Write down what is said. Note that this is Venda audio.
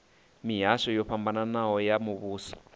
mihasho yo fhambanaho ya muvhuso